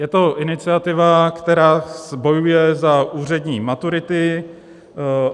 Je to iniciativa, která bojuje za úřední maturity.